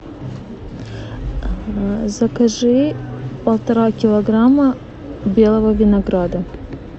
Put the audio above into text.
закажи полтора килограмма белого винограда